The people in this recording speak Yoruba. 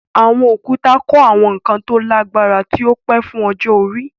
Àwọn òkúta kọ́ àwọn nǹkan tó lágbára tí ó pẹ́ fún ọjọ́ orí.